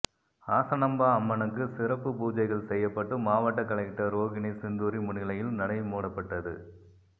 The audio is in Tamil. ஹாசனாம்பா அம்மனுக்கு சிறப்பு பூஜைகள் செய்யப்பட்டு மாவட்ட கலெக்டர் ரோகிணி சிந்தூரி முன்னிலையில் நடை மூடப்பட்டது